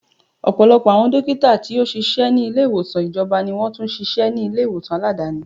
Ọ̀pọ̀lọpọ̀ àwọn dókítà tí ó ṣíṣe ni ilé ìwòsàn ìjọba ni wọn tún ṣíṣe ṣíṣe ní ilé ìwòsàn Aládàáni.